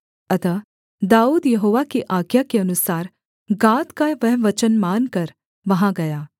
अतः दाऊद यहोवा की आज्ञा के अनुसार गाद का वह वचन मानकर वहाँ गया